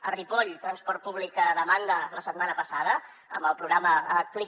a ripoll transport públic a demanda la setmana passada amb el programa clic